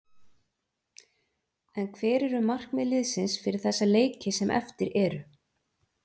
En hver eru markmið liðsins fyrir þessa leiki sem eftir eru?